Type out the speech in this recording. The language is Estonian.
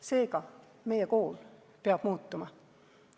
Seega, meie kool peab muutuma.